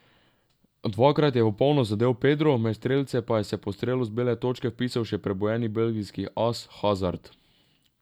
Dvakrat je v polno zadel Pedro, med strelce pa se je po strelu z bele točke vpisal še prebujeni belgijski as Hazard.